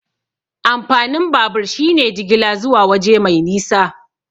Amfanin babur shine jigila zuwa waje mai nisa.